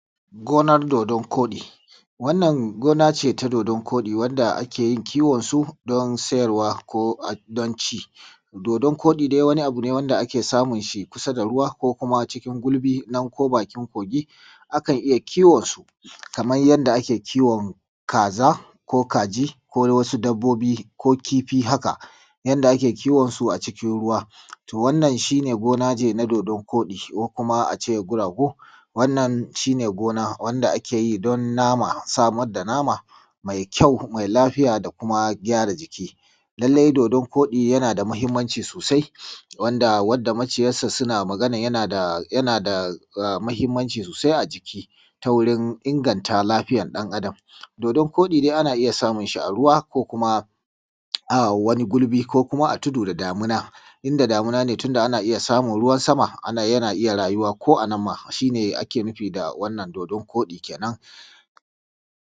Gonar dodon koɗi, wannan gona ce ta dodon koɗi wanda ake yin kiwonsu don sayarwa ko a don ci. Dodon koɗin dai wani abu ne wanda ake samun shi kusa da ruwa ko kuma cikin gulbi na ko bakin kogi. Akan iya kiwonsu kamar yadda ake kiwon kaza ko kaji ko wasu dabbobi ko kifi haka. Yanda ake kiwonsu a cikin ruwa. To wannan shi ne gona ce na dodon koɗi kuma a ce kuragu, wannan shi ne gona wanda ake yi don nama ko samar da nama mai kyau da lafiya don gyara jiki. Lallai dodon koɗi yana da mahimmanci sosai wanda maciyarsa suna maganar yana da mahimmanci sosai a jiki ta wurin inganta lafiyar ɗan Adam. Dodon koɗi dai ana iya samun shi a ruwa ko kuma a wani gulbi ko kuma a tudu da damina. Inda damina ne tunda ana iya samun ruwan sama yana iya rayuwa ko a nan ma shi ne ake nufi da wannan dodon koɗi kenan.